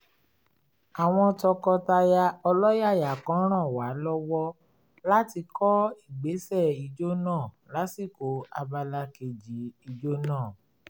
àwọn tọkọtaya ọlọ́yàyà kan ràn wá lọ́wọ́ láti kọ́ ìgbésẹ̀ ìjó náà lásìkò abala kejì ijó náà